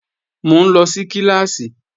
Mò ń lọ sí kíláàsì